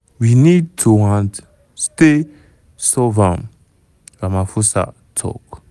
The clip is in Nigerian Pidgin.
we need toand stay solve am" ramaphosa tok.